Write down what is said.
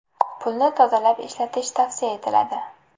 Pulni tozalab ishlatish tavsiya etiladi.